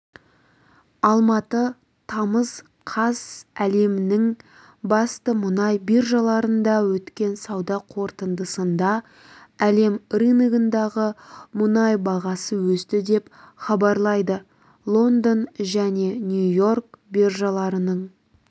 алматы тамыз қаз әлемнің басты мұнай биржаларында өткен сауда қортындысында әлем рыногындағы мұнай бағасы өсті деп хабарлайды лондон және нью-йорк биржаларының